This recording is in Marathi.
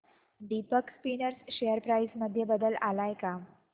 दीपक स्पिनर्स शेअर प्राइस मध्ये बदल आलाय का